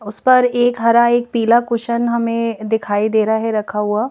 उस पर एक हरा एक पीला कुशन हमें दिखाई दे रहा है रखा हुआ।